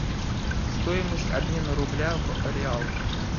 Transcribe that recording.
стоимость обмена рубля в реал